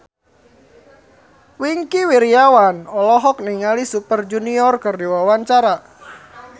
Wingky Wiryawan olohok ningali Super Junior keur diwawancara